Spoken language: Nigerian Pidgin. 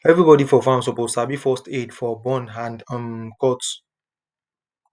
everybody for farm suppose sabi first aid for burn and um cut